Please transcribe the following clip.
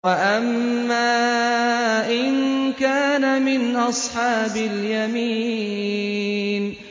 وَأَمَّا إِن كَانَ مِنْ أَصْحَابِ الْيَمِينِ